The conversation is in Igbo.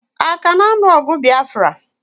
Aka na anu ogu Biafra?